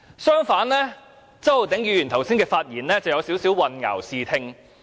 相反地，周議員剛才的發言有點兒混淆視聽。